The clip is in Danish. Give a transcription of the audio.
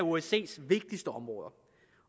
osces vigtigste områder